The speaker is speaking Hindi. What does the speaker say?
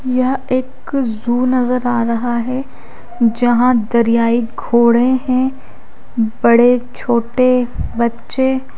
यह एक जू नजर आ रहा है जहां दरयाई घोड़े है बड़े छोटे बच्चे--